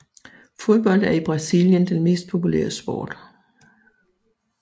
Fodbold er i Brasilien den mest populære sport